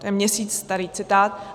To je měsíc starý citát.